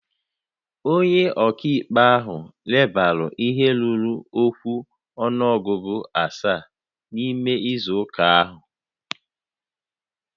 Onye ọka ikpe ahụ lebara ihe ruru okwu ọnụọgụ asaa n'ime izu ụka ahụ